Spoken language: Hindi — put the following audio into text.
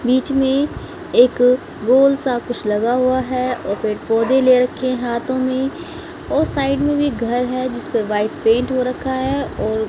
बीच में एक गोल सा कुछ लगा हुआ है और पेड़-पोधै ले रखे हैं हाथों में और साइड में भी घर हैं। जिसका व्हाइट पेंट हो रखा है और--